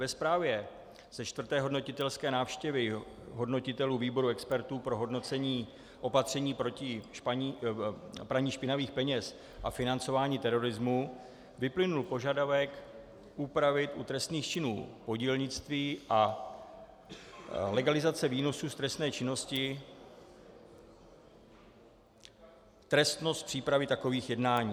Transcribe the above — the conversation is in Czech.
Ve zprávě ze čtvrté hodnotitelské návštěvy hodnotitelů výboru expertů pro hodnocení opatření proti praní špinavých peněz a financování terorismu vyplynul požadavek upravit u trestných činů podílnictví a legalizace výnosů z trestné činnosti trestnost přípravy takových jednání.